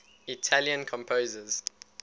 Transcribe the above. italian composers